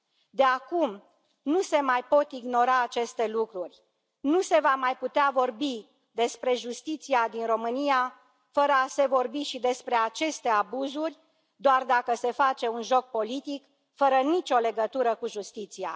De acum, nu se mai pot ignora aceste lucruri, nu se va mai putea vorbi despre justiția din România fără a se vorbi și despre aceste abuzuri, doar dacă se face un joc politic fără nicio legătură cu justiția.